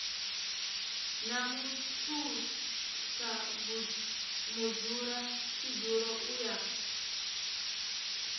na muthusa mudzulatshidulo u ya